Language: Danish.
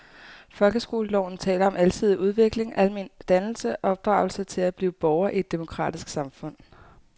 Folkeskoleloven taler om alsidig udvikling, almen dannelse og opdragelse til at blive borger i et demokratisk samfund.